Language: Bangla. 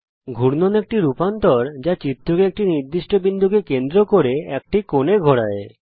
ঘূর্ণন একটি রূপান্তর যা চিত্রকে একটি নির্দিষ্ট বিন্দুকে কেন্দ্র করে একটি কোণে ঘোরায়